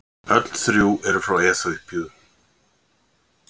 Öll þrjú eru frá Eþíópíu.